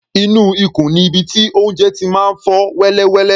Inú ikùn ni ibi tí oúnjẹ ti máa ń fọ́ wẹ́lẹwẹ̀lẹ.